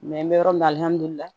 n bɛ yɔrɔ min na